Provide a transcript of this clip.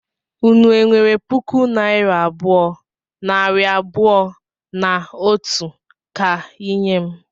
Unu enwere puku naira abụọ, nari abụọ na otu ka I nye m?